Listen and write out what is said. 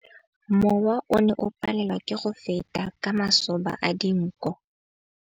Mowa o ne o palelwa ke go feta ka masoba a dinko.